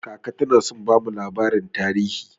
Kaka tana son bamu labarin tarihi.